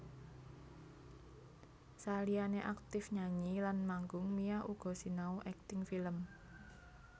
Saliyané aktif nyanyi lan manggung Mia uga sinau akting film